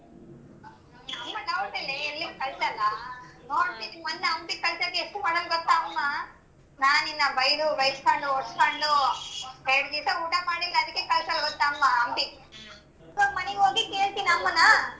ಅಮ್ಮ doubt ಇಲ್ಲೇ ಎಲ್ಲಿಗ್ ಕಳ್ಸಲ್ಲ. ಮೊನ್ನೆ ಹಂಪಿಗ್ ಕಳ್ಸಕ್ಕೆ ಎಷ್ಟ್ ಮಾಡಾಳ್ ಗೊತ್ತ ಅಮ್ಮ.ನಾನಿನ್ನ ಬೈದು ಬೈಸ್ಕೊಂಡು ಹೊಡ್ಸ್ಕೊಂಡು ಎರ್ಡ್ ದಿಸ ಊಟ ಮಾಡಿಲ್ಲ ಅದಕ್ಕೆ ಕಳ್ಸಾಳ್ ಗೊತ್ತ ಅಮ್ಮ ಹಂಪಿಗ್. ಇವಾಗ್ ಮನೆಗ್ ಹೋಗಿ ಕೇಳ್ತೀನ್ ಅಮ್ಮನ.